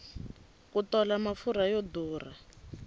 ku tola mafurha yo durha